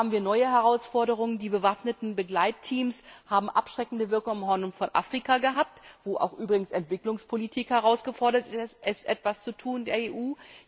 Und da stehen wir vor neuen Herausforderungen Die bewaffneten Begleitteams haben abschreckende Wirkung am Horn von Afrika gehabt, wo auch übrigens Entwicklungspolitik gefordert ist, etwas zu tun als EU.